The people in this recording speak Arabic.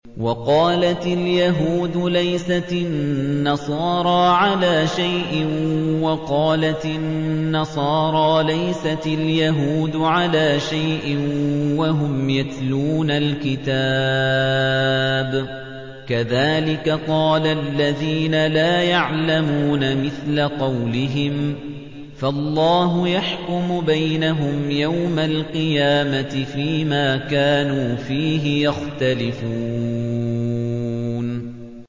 وَقَالَتِ الْيَهُودُ لَيْسَتِ النَّصَارَىٰ عَلَىٰ شَيْءٍ وَقَالَتِ النَّصَارَىٰ لَيْسَتِ الْيَهُودُ عَلَىٰ شَيْءٍ وَهُمْ يَتْلُونَ الْكِتَابَ ۗ كَذَٰلِكَ قَالَ الَّذِينَ لَا يَعْلَمُونَ مِثْلَ قَوْلِهِمْ ۚ فَاللَّهُ يَحْكُمُ بَيْنَهُمْ يَوْمَ الْقِيَامَةِ فِيمَا كَانُوا فِيهِ يَخْتَلِفُونَ